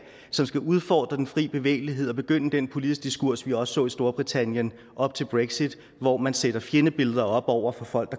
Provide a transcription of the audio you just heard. som skal udfordre den fri bevægelighed og begynde den politiske diskurs vi også så i storbritannien op til brexit hvor man satte fjendebilleder op over for folk